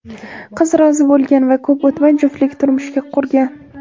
Qiz rozi bo‘lgan va ko‘p o‘tmay juftlik turmush qurgan.